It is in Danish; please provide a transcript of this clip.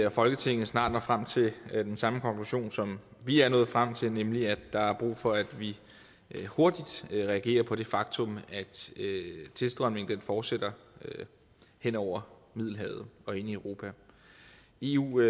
og folketinget snart når frem til den samme konklusion som vi er nået frem til nemlig at der er brug for at vi hurtigt reagerer på det faktum at tilstrømningen fortsætter hen over middelhavet og ind i europa eu